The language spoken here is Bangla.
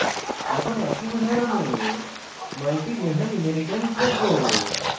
এখন একই উদাহরণে মাল্টি লেভেল inheritance দেখব